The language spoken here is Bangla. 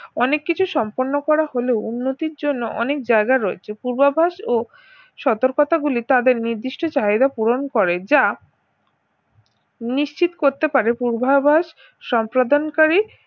অনেক কিছু সম্পন্ন করা হলেও উন্নতির জন্য অনেক জায়গা রয়েছে পূর্বাভাস ও সতর্কতা গুলি তাদের নির্দিষ্ট চাহিদা পূরণ করে যা নিশ্চিত করতে পারে পূর্ভাবাস সম্পাদনকারী